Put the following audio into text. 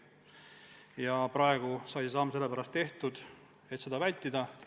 Ja praegu sai see samm sellepärast tehtud, et seda vältida.